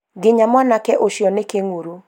nginya mwanake ũcio nĩ kĩnguru